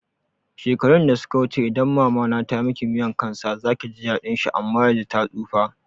Shekaru da suka wuce idan mama na tamiki miyan kan sa zaki ji daɗin shi ama yanzun ta tsufa